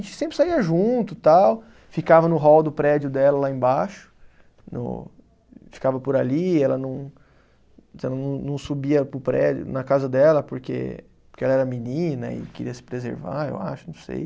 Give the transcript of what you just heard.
A gente sempre saía junto tal, ficava no hall do prédio dela lá embaixo, no ficava por ali, ela não não não subia para o prédio na casa dela porque, porque ela era menina e queria se preservar, eu acho, não sei.